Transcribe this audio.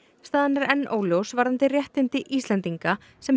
staðan er enn óljós varðandi réttindi Íslendinga sem